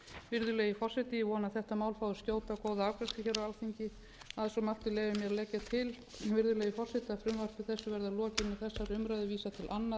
virðulegi forseti ég vona að þetta mál fái skjóta og góða afgreiðslu á alþingi að svo mæltu leyfi ég mér að leggja til virðulegi forseti að frumvarpi þessu verði að lokinni þessari